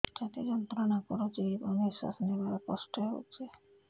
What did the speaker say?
ଛାତି ଯନ୍ତ୍ରଣା କରୁଛି ଏବଂ ନିଶ୍ୱାସ ନେବାରେ କଷ୍ଟ ହେଉଛି